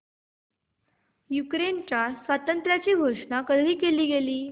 युक्रेनच्या स्वातंत्र्याची घोषणा कधी केली गेली